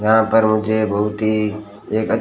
यहां पर मुझे बहोत ही एक--